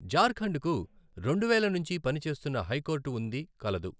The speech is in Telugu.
జార్ఖండ్ కు రెండు వేల నుంచి పనిచేస్తున్న హైకోర్టు ఉంది కలదు.